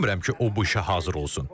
Düşünmürəm ki, o bu işə hazır olsun.